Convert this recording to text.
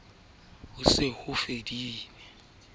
o ne a ikemeseditse ho